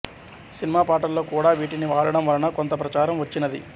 cinema పాటల్లో కూడా వీటిని వాడటం వలన కొంత ప్రచారం వచ్చినది